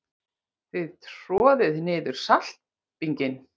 Þið troðið niður saltbinginn.